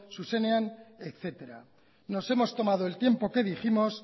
zuzenean etcétera nos hemos tomado el tiempo que dijimos